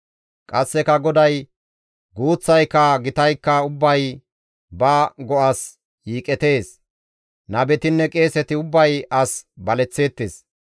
Qasseka GODAY, «Guuththayka gitaykka ubbay ba go7as yiiqetees. Nabetinne qeeseti ubbay as baleththeettes.